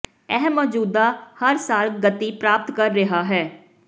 ਇਹ ਮੌਜੂਦਾ ਹਰ ਸਾਲ ਗਤੀ ਪ੍ਰਾਪਤ ਕਰ ਰਿਹਾ ਹੈ